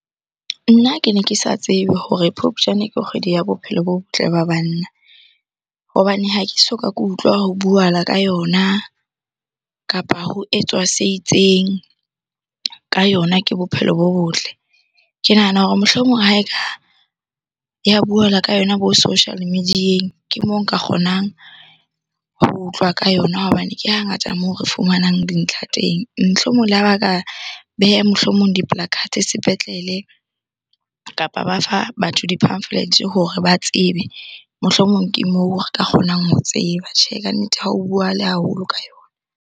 Nna ke ne ke sa tsebe hore Phupjane ke kgwedi ya bophelo bo botle ba banna, hobane ha ke soka ke utlwa ho buahala ka yona kapa ho etswa se itseng ka yona ke bophelo bo botle. Ke nahana hore mohlomong ha eka ya buhala ka yona bo social media-eng, ke moo nka kgonang ho utlwa ka yona hobane ke hangata moo re fumanang dintlha teng. Mohlomong le ha ba ka beha mohlomong di sepetlele kapa ba fa batho di-pamphlets hore ba tsebe mohlomong ke moo re ka kgonang ho tseba. Tjhe, kannete ha o buahale haholo ka yona.